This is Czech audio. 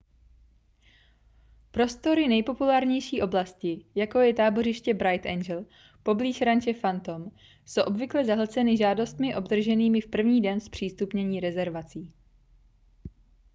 prostory nejpopulárnějších oblastí jako je tábořiště bright angel poblíž ranče phantom jsou obvykle zahlceny žádostmi obdrženými v první den zpřístupnění rezervací